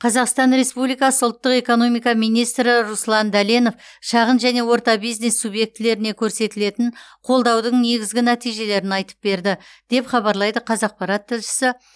қазақстан республикасы ұлттық экономика министрі руслан дәленов шағын және орта бизнес субъектілеріне көрсетілетін қолдаудың негізгі нәтижелерін айтып берді деп хабарлайды қазақпарат тілшісі